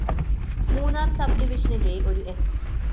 Munnar‍ sub ഡിവിഷനിലെ ഒരു സ്‌